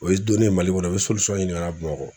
O ye donnen ye Mali kɔnɔ o bɛ ɲini ka Bamakɔ